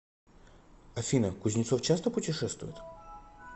афина кузнецов часто путешествует